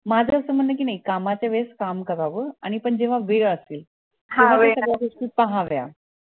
माझं असं म्हण आहे कि नई काम च्या वेळेस काम करावं पण जेव्हा वेळ असेल गोष्टी पाहाव्या